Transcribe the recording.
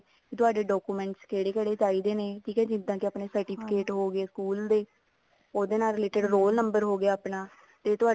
ਤੁਹਾਡੇ documents ਕਿਹੜੇ ਕਿਹੜੇ ਚਾਹੀਦੇ ਨੇ ਇਸੇ certificate ਹੁੰਦੇ ਨੇ ਸਕੂਲ ਦੇ ਉਹਦੇ ਨਾਲ related roll number ਹੋਗਿਆ ਆਪਣਾ ਤੇ ਤੁਹਾਡਾ